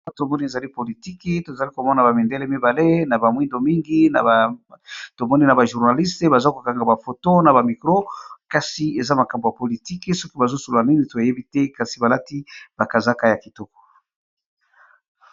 Awa tomoni ezali politiki tozali komona bamindele mibale, na bamwindo mingi tomoni na ba journaliste baza kokanga bafoto na bamikro, kasi eza makambo ya politiki soki bazosula nini toyebi te kasi balati bakazaka ya kitoko.